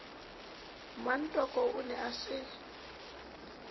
mmatoko o ne a se